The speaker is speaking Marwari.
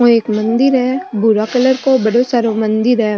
ओ एक मंदिर है भूरा कलर को बड़ो सरो मंदिर है।